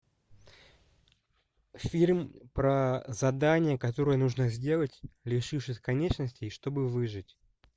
фильм про задание которое нужно сделать лишившись конечностей чтобы выжить